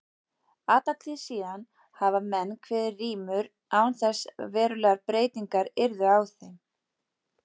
Alla tíð síðan hafa menn kveðið rímur án þess að verulegar breytingar yrðu á þeim.